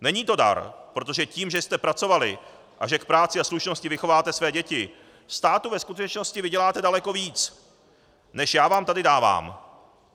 Není to dar, protože tím, že jste pracovali a že k práci a slušnosti vychováte své děti, státu ve skutečnosti vyděláte daleko víc než já vám tady dávám."